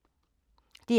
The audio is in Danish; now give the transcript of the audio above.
DR2